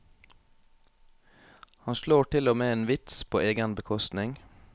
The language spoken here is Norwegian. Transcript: Han slår til og med en vits på egen bekostning.